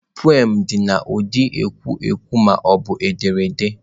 Peoms dị n'ụdị ekwu okwu ma ọ bụ ederede.